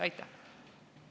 Aitäh!